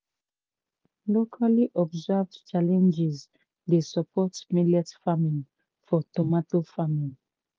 locally observed challenges dey support millet farming for tomato farming